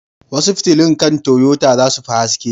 Wasu fitilun kan Toyota za su fi haske.